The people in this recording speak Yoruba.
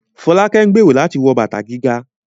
Folake ń gbèrò láti wọ bàtà gíga